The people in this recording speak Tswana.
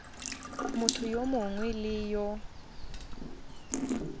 motho yo mongwe le yo